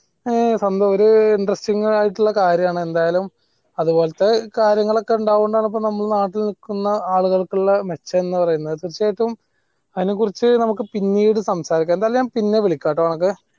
ആ ഒരു interesting ആയിട്ടുള്ള കാര്യം ആണ് എന്തായലും ഇപ്പോളത്തെ കാര്യങ്ങളൊക്കെ ഉണ്ടാവുന്നുണ്ടാണ് നമ്മൾ നാട്ടിൽ നിക്കുന്ന ആളുകൾക്ക് മെച്ചം എന്ന് പറയുന്നത് തീർച്ചയായിട്ടും അതിനെ കുറിച്ച് നമ്മക്ക് പിന്നീട് സമാരിക്ക്യ എന്തായലും ഞാൻ പിന്നെ വിളിക്കാ ട്ടോ അഹദേ